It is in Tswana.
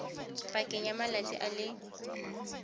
pakeng ya malatsi a le